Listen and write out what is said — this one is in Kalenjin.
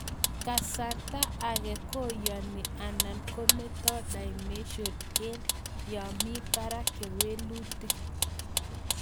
Kasarta ake koyani anan kometoi demential eng yamii parak kewelutik